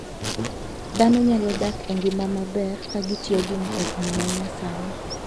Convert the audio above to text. Dhano nyalo dak e ngima maber ka gitiyo gi mtokni ma nyasani.